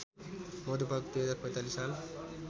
मधुपर्क २०४५ साल